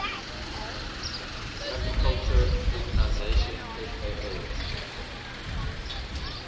agriculture organization fao